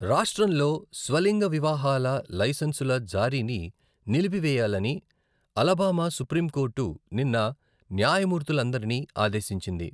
రాష్ట్రంలో స్వలింగ వివాహాల లైసెన్సుల జారీని నిలిపివేయాలని అలబామా సుప్రీంకోర్టు నిన్న న్యాయమూర్తులందరిని ఆదేశించింది.